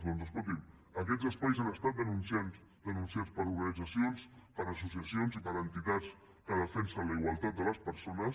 doncs escolti’m aquests espais han estat denunciats per organitzacions per associacions i per entitats que defensen la igualtat de les persones